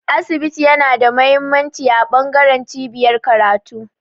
Asibiti yana da mahimmanci a bangaren cibiyar karatu